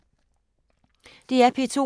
DR P2